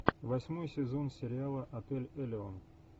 восьмой сезон сериала отель элеон